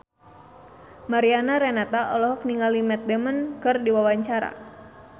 Mariana Renata olohok ningali Matt Damon keur diwawancara